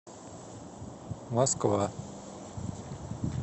москва